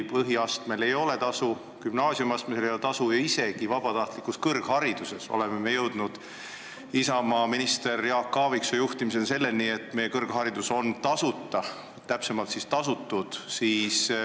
Põhikoolis ei ole tasu, gümnaasiumis ei ole tasu ja isegi vabatahtlikus kõrghariduses jõudsime Isamaa ministri Jaak Aaviksoo juhtimisel selleni, et kõrgharidus on tasuta, täpsemini siis riigi tasutud.